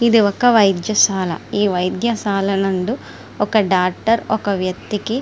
ఇది ఒక వైద్యశాల ఈ వైద్యశాల నందు ఒక డాక్టర్ ఒక వ్య్కతికి --